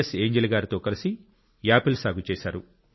Angel గారితో కలిసి apple సాగు చేశారు